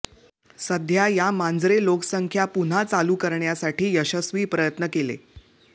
सध्या या मांजरे लोकसंख्या पुन्हा चालू करण्यासाठी यशस्वी प्रयत्न केले